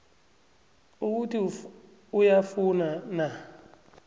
ukuthi uyafuna na